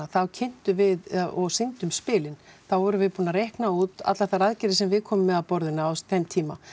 þá kynntum við og sýndum spilin þá vorum við búin að reikna út allar þær aðgerðir sem við komum með að borðinu á þeim tíma